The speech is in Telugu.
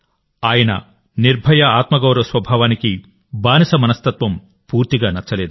ఆయన నిర్భయ ఆత్మగౌరవ స్వభావానికి బానిస మనస్తత్వం పూర్తిగా నచ్చలేదు